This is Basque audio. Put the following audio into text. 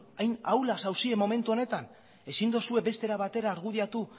hain ahulak zaudete momentu honetan ezin dozue beste era batera argudiatu